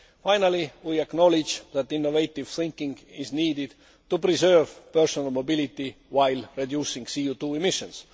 roads. Finally, we acknowledge that innovative thinking is needed to preserve personal mobility, while reducing CO 2 emissions.